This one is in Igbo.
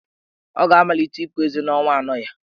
Ọ ga-amalite ịpu ezé n'ọnwa anọ ya.